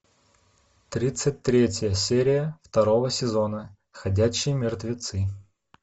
тридцать третья серия второго сезона ходячие мертвецы